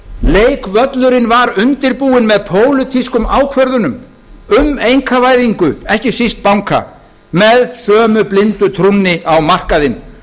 leikvöllurinn var undirbúinn með pólitískum ákvörðunum um einkavæðingu ekki síst banka með sömu blindu trúnni á markaðinn